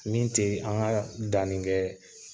Min tɛ an ka danni kɛ